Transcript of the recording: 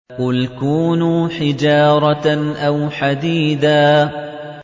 ۞ قُلْ كُونُوا حِجَارَةً أَوْ حَدِيدًا